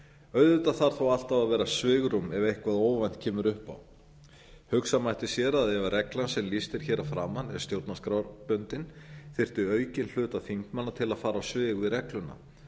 auðvitað þarf þó alltaf að vera svigrúm ef eitthvað óvænt kemur upp á hugsa mætti sér ef reglan sem lýst er hér að framan er stjórnarskrárbundin þyrfti aukinn hlutaþingmanna til að fara á svig við regluna